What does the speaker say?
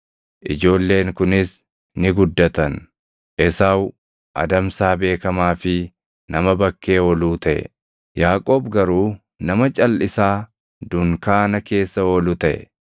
Ijoolleen kunis ni guddattan; Esaawu adamsaa beekamaa fi nama bakkee ooluu taʼe; Yaaqoob garuu nama calʼisaa dunkaana keessa oolu taʼe.